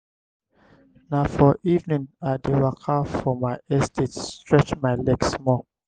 na for evening i dey waka for my estate stretch my leg small.